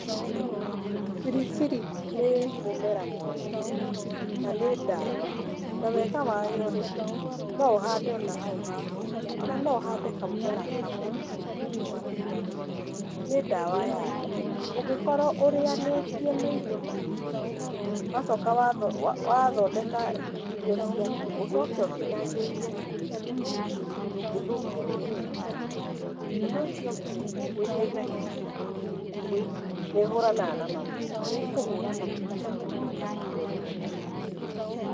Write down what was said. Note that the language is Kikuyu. Biribiri nĩ mũmera mwega, na nĩ ndawa. Na wega wayo rĩ, no ũhande ona hau haku nja, ona no ũhande kamũmera kamwe, ũgatuage, nĩ ndawa ya nda. Ũngĩkorwo ũrĩanĩtie mairio maingĩ, wacoka watho wa wathondeka irio ciaku ũcoke ũtinagĩrie biribiri, ndũngĩthũkĩrwo nĩ nda. Ũndũ ũcio ũngĩ, nĩteithagĩrĩria kũhinja, nĩhũranaga na maguta. Nĩkũhũra maguta maku marĩa mothe ũrenda mathire.